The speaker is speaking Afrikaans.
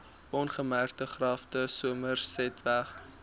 ongemerkte grafte somersetweg